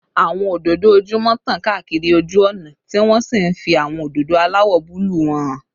Àwọn òdòdó ojúmọ́ tàn káàkiri ojú ọ̀nà, tí wọ́n sì ń fi àwọn òdòdó aláwọ̀ búlúù wọn hàn